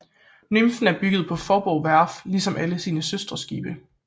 Nymfen er bygget på Faaborg Værft ligesom alle sine søsterskibe